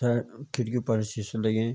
तय खिड़कीयूँ पर शीसा लगीं।